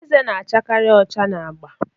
Ezé na-achakarị ọcha na agba